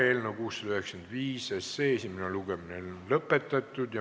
Eelnõu 695 esimene lugemine on lõpetatud.